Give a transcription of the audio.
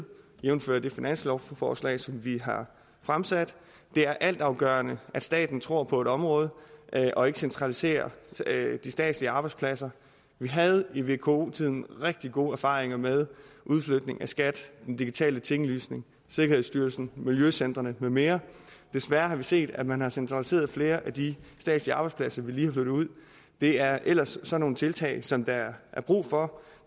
jævnfør det finanslovsforslag som vi har fremsat det er altafgørende at staten tror på et område og ikke centraliserer de statslige arbejdspladser vi havde i vko tiden rigtig gode erfaringer med udflytning af skat den digitale tinglysning sikkerhedsstyrelsen miljøcentrene med mere desværre har vi set at man har centraliseret flere af de statslige arbejdspladser vi lige har flyttet ud det er ellers sådan nogle tiltag som der er brug for